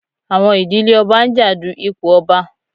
Àwọn ìdílé ọba ń jà du ipò ọba.